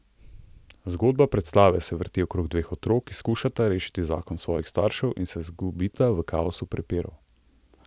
Zgodba predstave se vrti okrog dveh otrok, ki skušata rešiti zakon svojih staršev in se izgubita v kaosu prepirov.